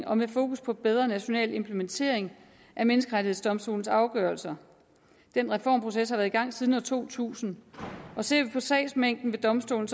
og med fokus på bedre national implementering af menneskerettighedsdomstolens afgørelser den reformproces har været i gang siden to tusind ser vi på sagsmængden ved domstolen